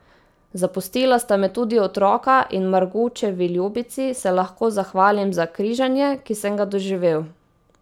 Zapustila sta me tudi otroka in Margučevi ljubici se lahko zahvalim za križanje, ki sem ga doživel.